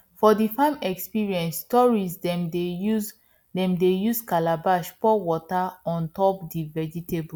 for the farm experience tourists dem dey use dem dey use calabash pour water on top d vegetables